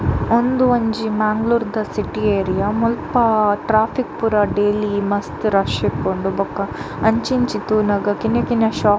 ಉಂದು ಒಂಜಿ ಮೇಂಗ್ಳೂರು ದ ಸಿಟಿ ಏರಿಯ ಮುಲ್ಪ ಟ್ರ್ಯಾಫಿಕ್ ಪೂರ ಡೈಲಿ ಮಸ್ತ್ ರಶ್ ಇಪ್ಪುಂಡು ಬೊಕ ಅಂಚಿ ಇಂಚಿ ತೂನಗ ಕಿನ್ನ ಕಿನ್ನ ಶೋಪ್ --